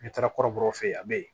N'i taara kɔrɔbɔrɔ fe yen a be yen